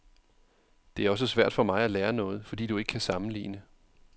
Det er også svært for mig at lære noget, fordi du ikke kan sammenligne.